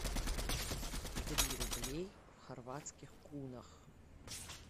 три рублей в хорватских кунах